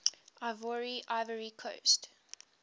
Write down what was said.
ivoire ivory coast